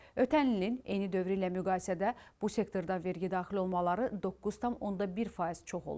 Ötən ilin eyni dövrü ilə müqayisədə bu sektorda vergi daxil olmaları 9,1% çox olub.